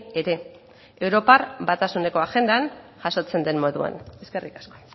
ere europar batasuneko agendan jasotzen den moduan eskerrik asko